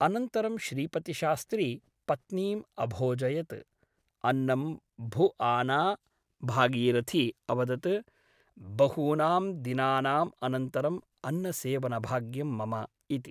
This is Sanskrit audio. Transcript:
अनन्तरं श्रीपतिशास्त्री पत्नीम् अभोजयत् । अन्नं भुआना भागीरथी अवदत् बहूनां दिनानाम् अनन्तरम् अन्नसेवनभाग्यं मम इति ।